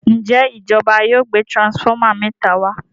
Njé ìjọba yóò gbé transformer méta wá?